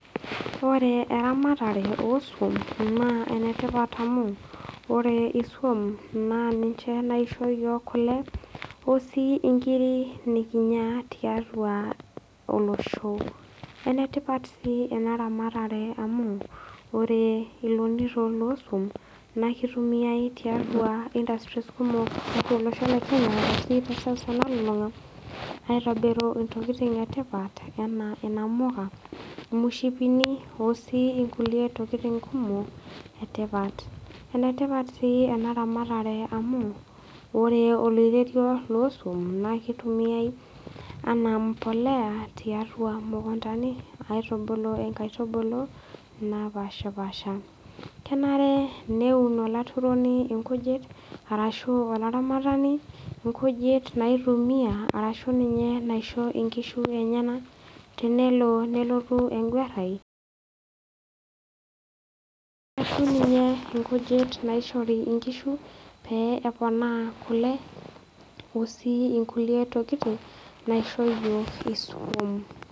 Ore eramatare oo suum naa enetipat amu ore isum, naa ninche naisho iyiok kule, o sii inkiri nikinya taiatua olosho. Enetipat sii ena ramatare amu ore ilonito loo isum, naakeitumiyai tiatua industries kumok tiatua olosho le Kenya teseuseu nalulung'a, aitobiru intokitin e tipat , anaa inamuka, imushipini o sii inkulie tokitin kumok e tipat, ene tipat sii ena ramatare amu ore oloirerio loo isuum naa keitumiyai anaa empolea, tiatua imukuntani aitubulunye inkaitubulu naapashipaasha. Kenare neun olaturoni inkujit ashu olaramatani inkujit naitumiya arashu ninye inaisho inklujit enyena tenelo nelotu engwarai, ashu ninye inkujit naishori inkujit pee epona kule ashu sii inkulie tokitin naisho iyiok isuum.